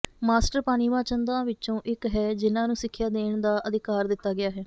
master ਪਾਨੀਵਾ ਚੰਦਾਂ ਵਿਚੋਂ ਇਕ ਹੈ ਜਿਨ੍ਹਾਂ ਨੂੰ ਸਿੱਖਿਆ ਦੇਣ ਦਾ ਅਧਿਕਾਰ ਦਿੱਤਾ ਗਿਆ ਹੈ